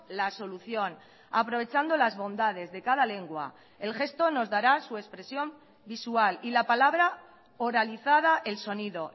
la solución aprovechando las bondades de cada lengua el gesto nos dará su expresión visual y la palabra oralizada el sonido